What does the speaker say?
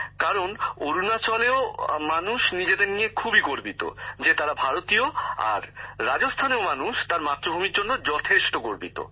কারণ অরুণাচলেও মানুষ নিজেদের নিয়ে খুবই গর্বিত যে তারা ভারতীয় আর রাজস্থানেও মানুষ তার মাতৃভূমির জন্য যথেষ্ট গর্বিত